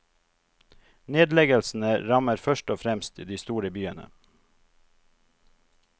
Nedleggelsene rammer først og fremst de store byene.